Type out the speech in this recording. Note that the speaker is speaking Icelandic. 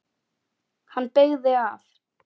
Hann beygði af.